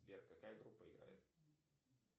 сбер какая группа играет